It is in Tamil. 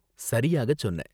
சரியாக சொன்ன!